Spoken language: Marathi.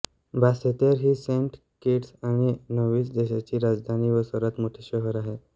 बासेतेर ही सेंट किट्स आणि नेव्हिस देशाची राजधानी व सर्वात मोठे शहर आहे